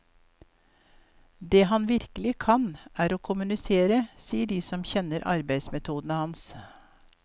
Det han virkelig kan, er å kommunisere, sier de som kjenner arbeidsmetodene hans.